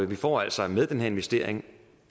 vi får altså med den her investering